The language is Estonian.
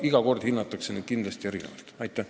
Neid lahendusi hinnatakse kindlasti iga kord eraldi.